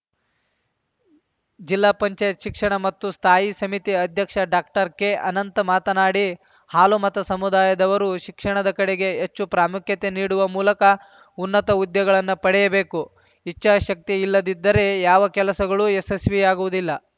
ಜಿಲ್ಲಾ ಪಂಚಾಯತ್ ಶಿಕ್ಷಣ ಮತ್ತು ಸ್ಥಾಯಿ ಸಮಿತಿ ಅಧ್ಯಕ್ಷ ಡಾಕ್ಟರ್ಕೆಅನಂತ್‌ ಮಾತನಾಡಿ ಹಾಲುಮತ ಸಮುದಾಯದವರು ಶಿಕ್ಷಣದ ಕಡೆಗೆ ಹೆಚ್ಚು ಪ್ರಾಮುಖ್ಯತೆ ನೀಡುವ ಮೂಲಕ ಉನ್ನತ ಹುದ್ದೆಗಳನ್ನು ಪಡೆಯಬೇಕು ಇಚ್ಚಾಶಕ್ತಿಯಿಲ್ಲದಿದ್ದರೇ ಯಾವ ಕೆಲಸಗಳು ಯಶಸ್ವಿಯಾಗುವುದಿಲ್ಲ